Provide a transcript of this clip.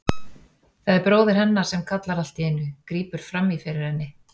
Það er bróðir hennar sem kallar allt í einu, grípur fram í fyrir henni.